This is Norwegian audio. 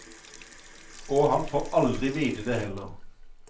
Og han får aldri vite det heller.